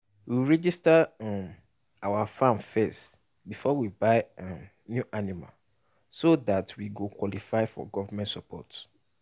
we register um our farm first befor we buy um new animal so dat we go qualify for government support